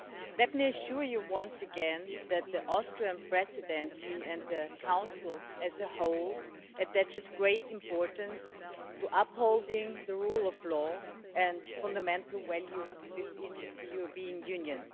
Let me assure you once again that the Austrian Presidency and the Council as a whole attaches great importance to upholding the rule of law and fundamental values within the European Union.